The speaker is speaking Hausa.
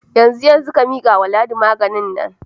Yanzu yanzu, ka mika wa Ladi magen nan.